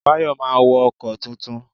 Bayo máa wo ọkọ̀ tuntun